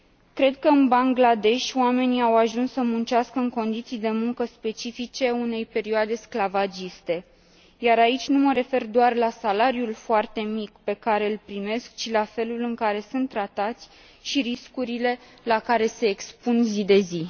Cred că în Bangladesh oamenii au ajuns să muncească în condiții de muncă specifice unei perioade sclavagiste, iar aici nu mă refer doar la salariul foarte mic pe care îl primesc, ci la felul în care sunt tratați și riscurile la care se expun zi de zi.